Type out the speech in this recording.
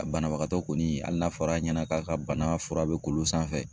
A banabagatɔ kɔni hali n'a fɔra a ɲɛna k'a ka bana fura bɛ k'olu sanfɛ